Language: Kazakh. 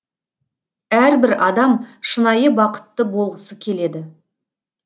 әрбір адам шынайы бақытты болғысы келеді